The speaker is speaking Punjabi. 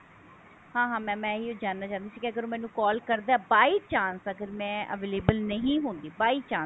ਆਂ ਹਾਂ mam ਮੈਂ ਇਹੀ ਜਾਨਣਾ ਚਾਹੁੰਦੀ ਸੀ ਕਿ ਅਗਰ ਮੈਨੂੰ call ਕਰਦਾ by chance ਅਗਰ ਮੈਂ available ਨਹੀਂ ਹੁੰਦੀ by chance